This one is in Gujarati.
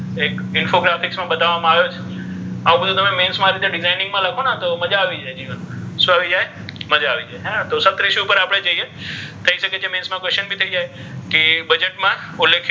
ઍક infografics મા બતાવવા મા આવે છે આવુ બધુ તમે mains મા designing મા લખોને તો મજા આવી જાય જીવન મા શુ આવી જાય મજા આવી જાય હે ને તો સપ્તઋષિ આપણે જઇએ થઇ શકે છે mains મા questions ભી થઇ જાય કે બજેટ મા politics,